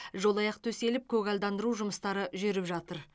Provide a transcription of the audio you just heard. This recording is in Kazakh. жолаяқ төселіп көгалдандыру жұмыстары жүріп жатыр